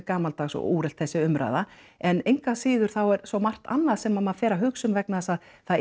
gamaldags og úrelt þessi umræða en engu að síður þá er svo margt annað sem maður fer að hugsa um vegna þess að það